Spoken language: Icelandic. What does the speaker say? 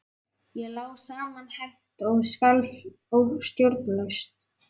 Ég lá samanherpt og skalf stjórnlaust.